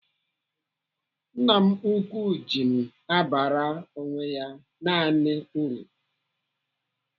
Nna m ukwu ji m abara onwe ya naanị uru.